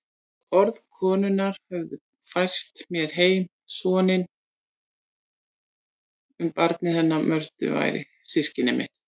Orð konunnar höfðu fært mér heim sanninn um að barnið hennar Mörtu væri systkini mitt.